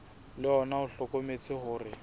le ona o hlokometse hore